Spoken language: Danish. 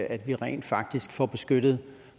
at vi rent faktisk får beskyttet